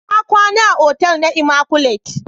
Na kwana a otel na "immaculate "